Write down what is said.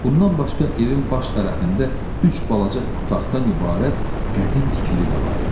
Bundan başqa evin baş tərəfində üç balaca otaqdan ibarət qədim tikili də var idi.